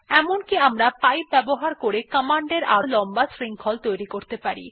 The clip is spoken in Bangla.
এমনকি আমরা পাইপ ব্যবহার করে কমান্ড এর আরো লম্বা শৃঙ্খল তৈরী করতে পারি